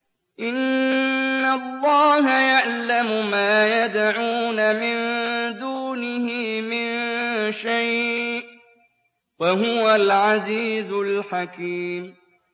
إِنَّ اللَّهَ يَعْلَمُ مَا يَدْعُونَ مِن دُونِهِ مِن شَيْءٍ ۚ وَهُوَ الْعَزِيزُ الْحَكِيمُ